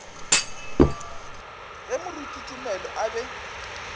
ge moruti tumelo a be